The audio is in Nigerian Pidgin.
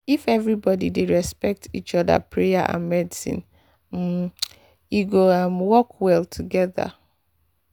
if everybody dey respect each other prayer and medicine um go um work well together.